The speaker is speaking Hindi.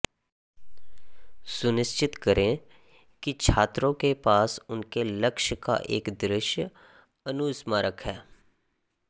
सुनिश्चित करें कि छात्रों के पास उनके लक्ष्य का एक दृश्य अनुस्मारक है